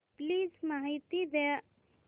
please माहिती द्या